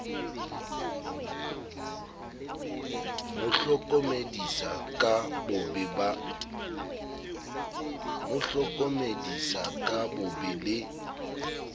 mo hlokomedisa ka bobe le